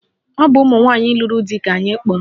Ọ bụ ụmụnwanyị lụrụ di ka anyị kpọrọ